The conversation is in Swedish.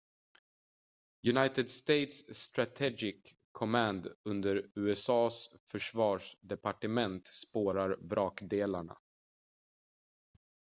united states strategic command under usa:s försvarsdepartement spårar vrakdelarna